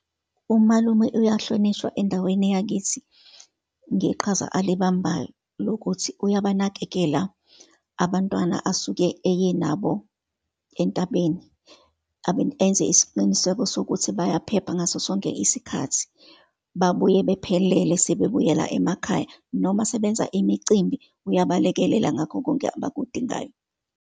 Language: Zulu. Umalume ayahlonishwa endaweni yakithi, ngeqhaza alibambayo lokuthi uyabanakekela abantwana asuke eye nabo entabeni, enze isiqiniseko sokuthi bayaphepha ngaso sonke isikhathi, babuye bephelele sebebuyela emakhaya, noma sebenza imicimbi, uyabalekelela ngakho konke abakudingayo.